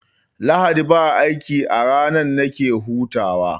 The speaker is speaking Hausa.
Lahadi ba aiki a ranan nake bugawa